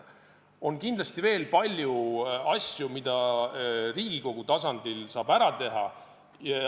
On kindlasti veel palju asju, mida saab Riigikogu tasandil ära teha.